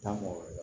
Taa mɔgɔ wɛrɛ